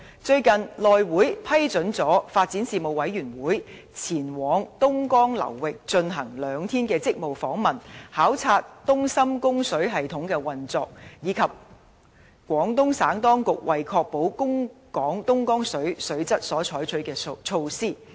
最近，內務委員會批准了發展事務委員會委員前往東江流域進行兩天職務訪問，考察東深供水系統的運作，以及廣東省當局為確保供港東江水水質所採取的措施。